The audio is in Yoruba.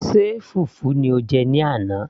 ṣe fùfú ni o jẹ ní àná